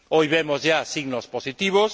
Hoy vemos ya signos positivos.